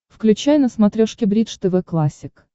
включай на смотрешке бридж тв классик